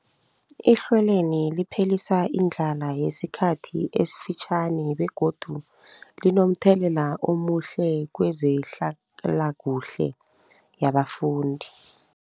Ihlelweli liphelisa indlala yesikhathi esifitjhani begodu linomthelela omuhle kezehlalakuhle yabafundi.